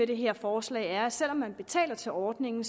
det her forslag er at selv om man betaler til ordningen